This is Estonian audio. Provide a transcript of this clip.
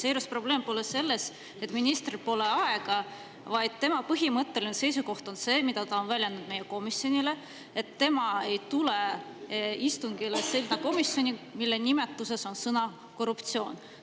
Seejuures probleem pole selles, et ministril pole aega, vaid tema põhimõtteline seisukoht, mida ta on väljendanud meie komisjonile, on see, et tema ei tule istungile komisjoni, mille nimetuses on sõna "korruptsioon".